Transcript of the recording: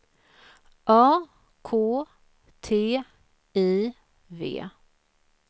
A K T I V